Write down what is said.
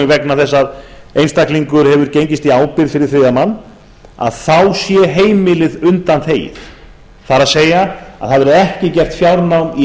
vegna þess að einstaklingur hefur gengist í ábyrgð fyrir þriðja mann að þá sé heimilið undanþegið það er að það verði ekki gert fjárnám í